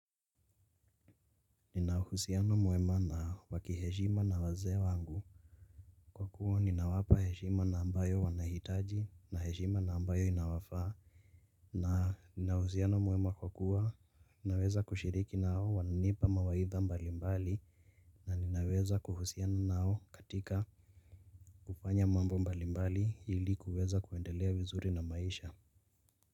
Nina uhusiano mwema na wa kiheshima na wazee wangu. Kwa kuwa ninawapa heshima na ambayo wanahitaji na heshima na ambayo inawafaa. Na nina uhusiano mwema kwa kuwa naweza kushiriki nao wananipa mawaidha mbalimbali. Na ninaweza kuhusiana nao katika kufanya mambo mbalimbali ili kuweza kuendelea vizuri na maisha.